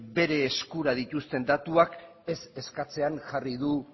bere eskura dituzten datuak ez eskatzean jarri du